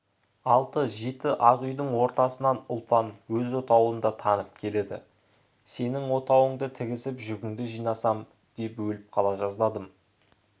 алты-жеті ақ үйдің ортасынан ұлпан өз отауын да танып келеді сенің отауыңды тігісіп жүгіңді жинасам деп өліп қала жаздадым